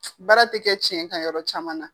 Baara tɛ kɛ tiɲɛ ka yɔrɔ caman na